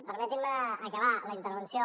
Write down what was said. permetin me acabar la intervenció